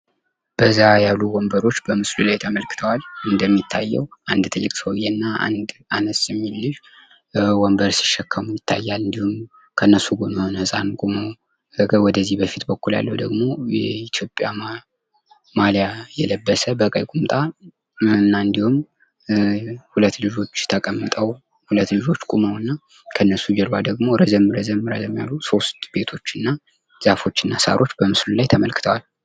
በዛ ያሉ ወንበሮች በምስሉ ላይ ተመልክተዋል እንደሚታየው አንድ ትልቅ ሰውየ እና አንድ አነስ እሚል ልጅ ወንበር ሲሸከም ይታያል እንድሁም ከነሱ ጎን የሆነ ህጻን ቆሞ ከዚህ በኩል ያለው ደግሞ የኢትዮጵያ ማሊያ የለበሰ በቀይ ቁምጣ እና እንድሁም ሁለት ልጆች ተቀምጠው ሁለት ልጆች ቁመው እና ከነሱ ጀርባ ደግሞ ረዘም ረዘም ያሉ ሶስት ቤቶችና ደጃፎችና ሳሮች በምስሉ ላይ ተመልክተዋል።